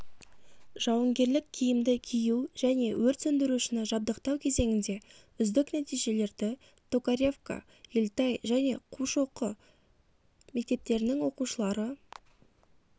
жауынгерлік киімді кию және өрт сөндірушіні жабдықтау кезеңінде үздік нәтижелерді токаревка ельтай және қушоқы мектептерінің оқушылары